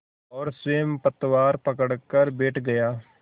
और स्वयं पतवार पकड़कर बैठ गया